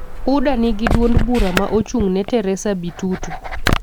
UDA nigi duond bura ma ochung'ne Teresa Bitutu,